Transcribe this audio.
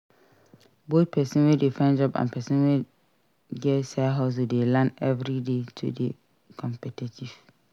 Both persin wey de find job and persin wey get side hustle de learn everyday to de competitive